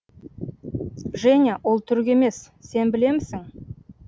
женя ол түрік емес сен білемісің